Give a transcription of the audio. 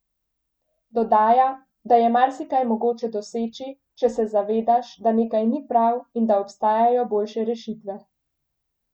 Dodaja, da je marsikaj mogoče doseči, če se zavedaš, da nekaj ni prav in da obstajajo boljše rešitve.